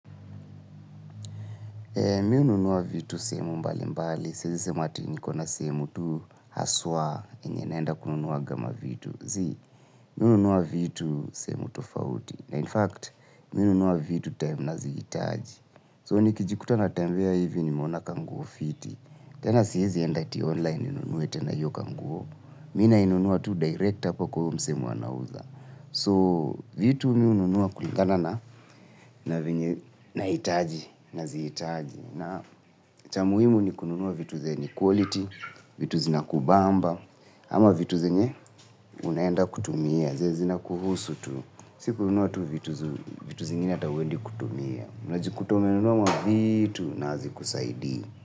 Mi ununua vitu sehemu mbali mbali. Sezi sema hati nikona sehemu tu haswa enye naenda kununuwa gama vitu. Zii, mi ununua vitu sehemu tofauti. Na in fact, mi nunua vitu time na ziitaji. So ni kijikuta na tembea hivi ni mona kanguofiti. Tena siezi enda ti online inunuwete na iyo ka nguo. Mi na inunuwa tu directa apa kwa mse mwe anawuza. So vitu mi ununuwa kulingana na itaji, na ziitaji. Na cha muhimu ni kununuwa vitu zeni quality, vitu zina kubamba. Ama vitu zenye unaenda kutumia, zina kuhusu tu. Siku unuwa tu vitu zingine atauwendi kutumia. Unajikuta umenunuwa mavitu na hazikusaidi.